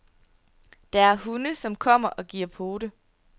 Der er hunde, som kommer og giver pote.